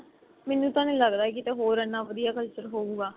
ਮੈਨੂੰ ਤਾਂ ਨਹੀਂ ਲੱਗਦਾ ਕਿਤੇ ਹੋਰ ਇੰਨਾ ਵਧੀਆ culture ਹੋਊਗਾ